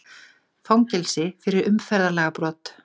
Fangelsi fyrir umferðarlagabrot